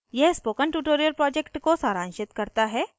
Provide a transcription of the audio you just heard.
यह spoken tutorial project को सारांशित करता है